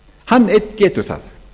hann einn getur það